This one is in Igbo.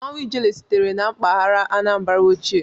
Mmanwụ ijele sitere na mpaghara Anambra ochie.